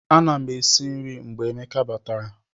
Ana m esi nri mgbe Emeka batara